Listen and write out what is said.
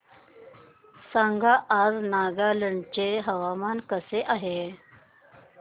सांगा आज नागालँड चे हवामान कसे आहे